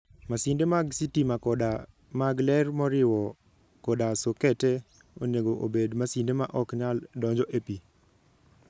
Masinde mag sitima koda mag ler moriwo koda sokete, onego obed masinde ma ok nyal donjo e pi.